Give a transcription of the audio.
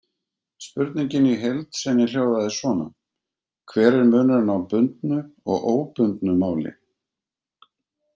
Spurningin í heild sinni hljóðaði svona: Hver er munurinn á bundnu og óbundnu máli?